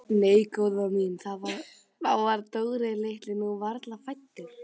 Nei góða mín, þá var Dóri litli nú varla fæddur.